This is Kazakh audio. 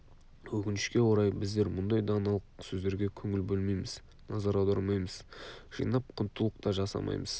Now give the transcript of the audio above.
өкінішке орай біздер мұндай даналық сөздерге көңіл бөлмейміз назар аудармаймыз жинап құнттылық та жасамаймыз